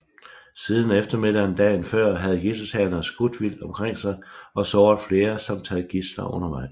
Siden eftermiddagen dagen før havde gidseltagerne skudt vildt omkring sig og såret flere samt taget gidsler undervejs